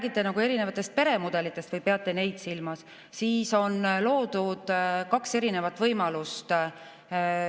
Kui te räägite erinevatest peremudelitest või peate neid silmas, siis on loodud kaks võimalust.